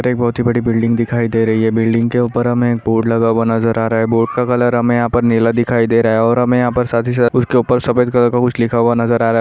एक बहुत ही बड़ी बिल्डिंग दिखाई दे रही है बिल्डिंग के उपर हमें बोर्ड लगा हुआ नजर आ रहा है बोर्ड का कलर हमें यहाँ पर नीला दिखाई दे रहा है और हमें यहाँ पर साथ ही साथ उसके उपर सफेद कलर का कुछ लिखा हुआ नजर आ रहा।